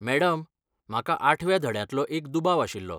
Madam, म्हाका आठव्या धड्यांतलो एक दुबाव आशिल्लो.